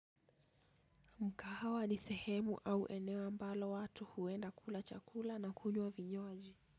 Mkahawa ni sehemu au eneo ambalo watu huenda kula chakula na kujua vinyoaji.